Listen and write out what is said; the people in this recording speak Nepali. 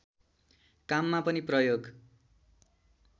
काममा पनि प्रयोग